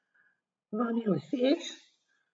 Vam je všeč?